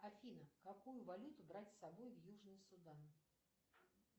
афина какую валюту брать с собой в южный судан